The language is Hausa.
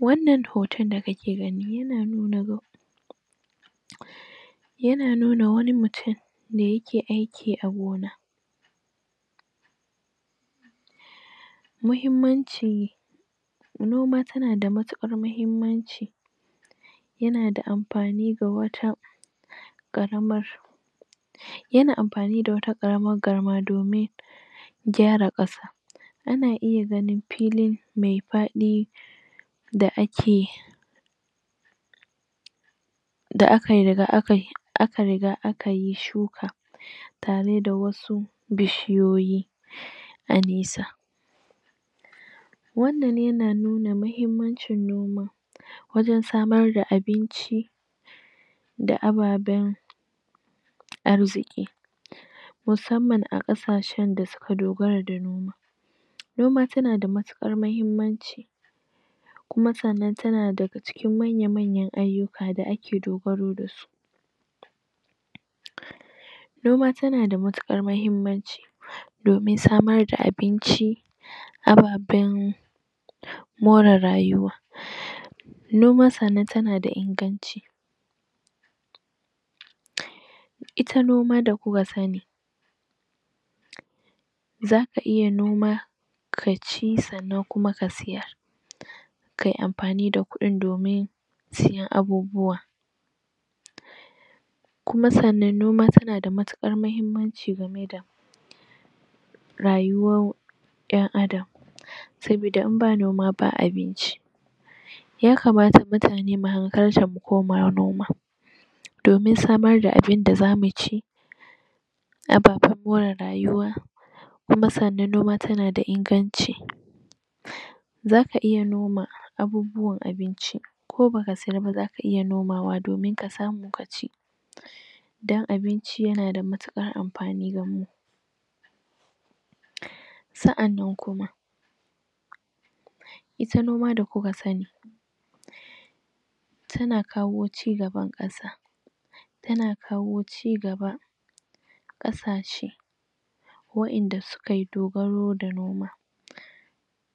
wannna hoton da kake gani ya na nuna yana nuna wani mutum yana aiki a gona muhimmanci noma tana da matukar muhimmanci yana amfani ga wata karamar yana amfani da tawa karamar garma domin gyara kasa ana iya ganin filin mai faɗi da ake da aka riga akayi shuka tare da wasu bishiyiyi a nisa wannnan ya na nuna muhimmancin noma wajen samar da abinci da ababen arziki musamman akasashen da suka dogara da noma noma tana da matukar muhimmanci kuma sannan tana dga cikin manya manyan ayyuka da ake dogaro da su noma tana da matukar muhimmanci domin samar da abinci ababen more rayuwa noma sannan tana da inganci ita noma da kuka sani zaka iya noma kaci kuma ka sayar kayi amfani da kudin domin siyan abubawa kuma sannan noma tana da matukar muhimmanci ga meda rayuwar yan adam saboda idan babu noma babu abinci ya kamata mutane mu hankalta mu koma noma domin samar da abun da zamuci ababen more rayuwa kuma sannan noma tana inganci zaka iya noma abubwan abinci ko baka sayarba zaka iya nomawa kaci don abinci yana da matukar amafni ga mu sa'annan kuma ita noma da kuka sani tana kawo cigaban kasa tana kawo cigaba kasashe da sukayi dogaro da noma